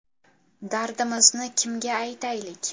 Dardimizni kimga aytaylik?